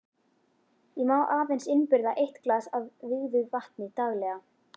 Ég má aðeins innbyrða eitt glas af vígðu vatni daglega.